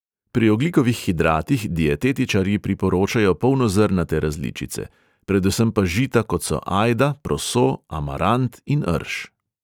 Pri ogljikovih hidratih dietetičarji priporočajo polnozrnate različice, predvsem pa žita, kot so ajda, proso, amarant in rž.